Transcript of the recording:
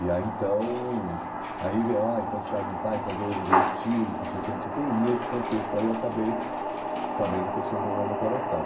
E aí, então, aí vie, ó, então os pais não estão, então veio veio o tio, então não sei o quê, não sei o quê, e nesse contexto aí eu acabei sabendo que eu tinha um problema no coração.